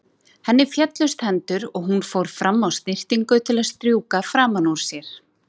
Henni féllust hendur og hún fór fram á snyrtingu til að strjúka framan úr sér.